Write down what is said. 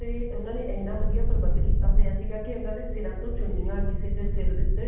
ਤੇ ਉਹਨਾ ਨੇ ਇੰਨਾ ਵਧੀਆ ਪ੍ਰਬੰਧ ਕੀਤਾ ਫ਼ੇਰ ਸੀਗਾ ਉਹਨਾ ਨੇ ਸਿਰਾਂ ਤੋਂ ਚੁੰਨੀਆ ਕਿਸੇ ਦੇ ਸਿਰ ਦੇ ਉੱਤੇ